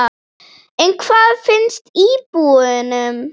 En hvað finnst íbúunum?